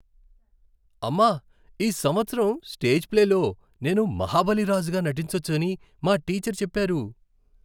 అమ్మా, ఈ సంవత్సరం స్టేజ్ ప్లేలో నేను మహాబలి రాజుగా నటించొచ్చని మా టీచర్ చెప్పారు.